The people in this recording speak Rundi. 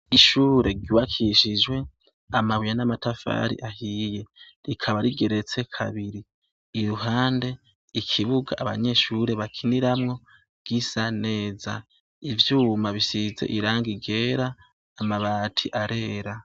Ishure ryubakishije amabuye n’amatafari ahiye rikaba rigeretse kabiri, iruhande ikibuga abanyeshure bakiniramwo gisa neza, ivyuma bisize irangi ryera amabati arera.